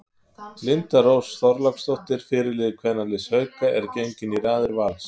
Linda Rós Þorláksdóttir fyrirliði kvennaliðs Hauka er gengin í raðir Vals.